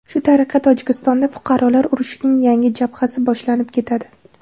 Shu tariqa Tojikistonda fuqarolar urushining yangi jabhasi boshlanib ketadi.